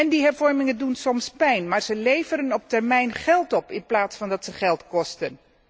Die hervormingen doen soms pijn, maar ze leveren op termijn geld op in plaats van dat ze geld kosten.